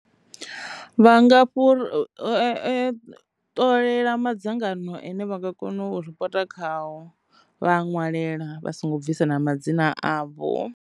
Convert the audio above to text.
Vha nga fhuri ṱolela madzangano ane vha nga kona u ripoto khaho vha a ṅwalela vha songo bvisa na madzina avho.